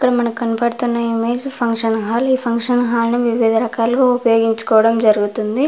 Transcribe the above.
ఇక్కడ మనకు కనబడుతున్న ఇమేజ్ ఫంక్షన్ హాల్ . ఈ ఫంక్షన్ హాల్ ని వివిధ రకాలుగా ఉపయోగించుకోవటం జరుగుతుంది.